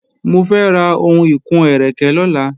Mo fẹ́ ra ohun ìkun-ẹ́rẹ̀kẹ́ lọ́la